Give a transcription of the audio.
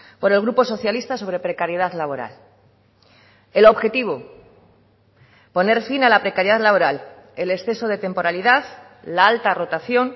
por el grupo socialista sobre precariedad laboral el objetivo poner fin a la precariedad laboral el exceso de temporalidad la alta rotación